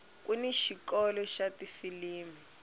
kuni xikolo xa tifilimi